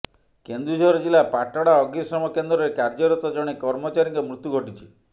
କେନ୍ଦୁଝର ଜିଲ୍ଲା ପାଟଣା ଅଗ୍ନିଶମ କେନ୍ଦ୍ରରେ କାର୍ଯ୍ୟରତ ଜଣେ କର୍ମଚାରୀଙ୍କ ମୃତ୍ୟୁ ଘଟିଛି